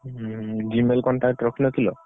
ହୁଁ Gmail contact ରଖିନଥିଲ?